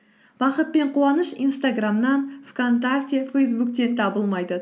бақыт пен қуаныш инстаграмнан вконтакте фейсбуктен табылмайды